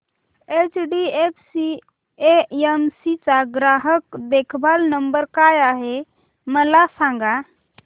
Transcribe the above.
HDFC AMC चा ग्राहक देखभाल नंबर काय आहे मला सांग